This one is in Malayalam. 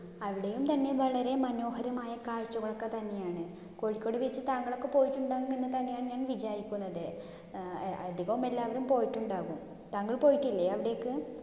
അവിടേം തന്നെ വളരെ മനോഹരമായ കാഴ്ചകൾ ഒക്കെതന്നെയാണ്. കോഴിക്കോട് beach താങ്കളൊക്കെ പോയിട്ടുണ്ടാവും എന്ന് തന്നെയാണ് ഞാൻ വിചാരിക്കുന്നത്. അഹ് അധികോം എല്ലാവരും പോയിട്ടുണ്ടാവും. താങ്കൾ പോയിട്ടിലെ അവിടേക്ക്?